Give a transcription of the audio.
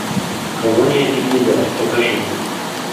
колония дигнидад покажи